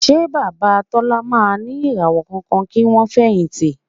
Ṣé Bàbá Tọ́lá máa ní ìràwọ̀ kankan kí wọ́n fẹ̀yìntì?